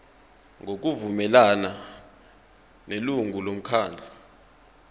ngokuvumelana nelungu lomkhandlu